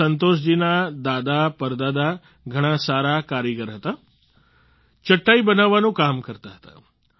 સંતોષ જી ના દાદાપરદાદા ઘણા સારા કારીગર હતા ચટાઈ બનાવવાનું કામ કરતા હતા